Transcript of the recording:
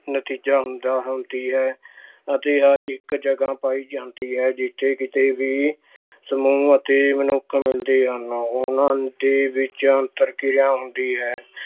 ਨਤੀਜਾ ਹੁੰਦਾ ਅਹ ਹੁੰਦੀ ਹੈ ਅਤੇ ਇੱਕ ਜਗ੍ਹਾ ਪਾਈ ਜਾਂਦੀ ਹੈ ਜਿੱਥੇ ਕਿਤੇ ਵੀ ਸਮੂਹ ਅਤੇ ਮਨੁੱਖ ਮਿਲਦੇ ਹਨ। ਉਹਨਾਂ ਦੇ ਵਿੱਚ ਅੰਤਰ ਕਿਰਿਆ ਹੁੰਦੀ ਹੈ